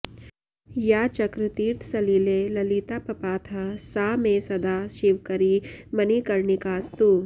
या चक्रतीर्थसलिले ललितापपातः सा मे सदा शिवकरी मणिकर्णिकास्तु